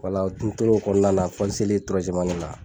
Wala n tor'o kɔnɔna fɔ n selen la.